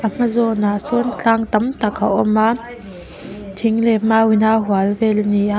a hma zâwnah sâwn tlâng tam tak a awm a thing leh mau ina a hual vêl a ni a--